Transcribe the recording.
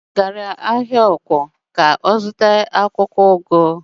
Nne m gara ahịa ọ̀kwọ̀ ka ọ zụta akwụkwọụgụ.